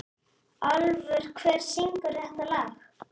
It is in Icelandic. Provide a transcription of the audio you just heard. Álfur, hver syngur þetta lag?